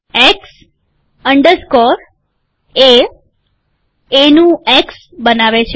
x underscore A એનું X બનાવે છે